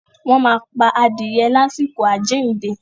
wọ́n máa pa adìrẹ lásìkò “ àjíìnde”.